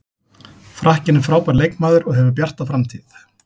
Frakkinn er frábær leikmaður og hefur bjarta framtíð.